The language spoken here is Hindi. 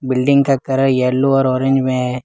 बिल्डिंग का कलर येलो और ऑरेंज में है।